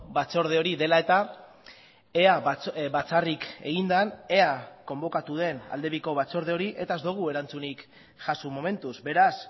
batzorde hori dela eta ea batzarrik egin den ea konbokatu den aldebiko batzorde hori eta ez dugu erantzunik jaso momentuz beraz